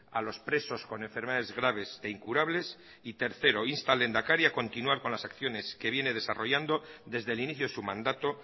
a los presos con enfermedades graves e incurables y tercero insta al lehendakari a continuar con las acciones que viene desarrollando desde el inicio de su mandato